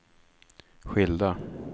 skilda